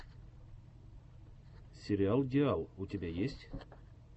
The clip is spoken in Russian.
сериал диал у тебя есть